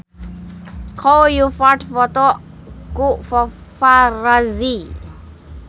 Chow Yun Fat dipoto ku paparazi